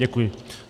Děkuji.